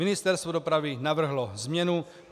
Ministerstvo dopravy navrhlo změnu.